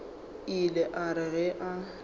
ile a re ge a